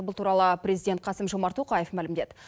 бұл туралы президент қасым жомарт тоқаев мәлімдеді